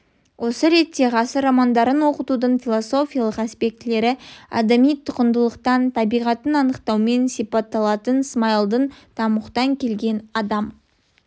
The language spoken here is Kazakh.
осы ретте ғасыр романдарын оқытудың философиялық аспектілері адами құндылықтың табиғатын анықтаумен сипатталатынын смайылдың тамұқтан келген адам